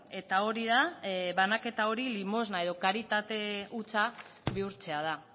eta hori da banaketa hori limosna edo karitate hutsa bihurtzea da